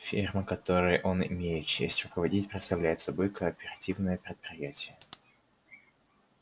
ферма которой он имеет честь руководить представляет собой кооперативное предприятие